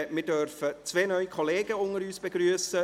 Wir dürfen zwei neue Kollegen unter uns begrüssen.